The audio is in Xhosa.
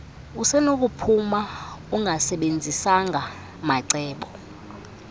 usenokuphuma ungasebenzisanga mancedo